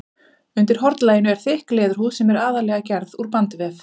Undir hornlaginu er þykk leðurhúð sem er aðallega gerð úr bandvef.